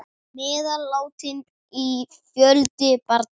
Meðal látinna var fjöldi barna.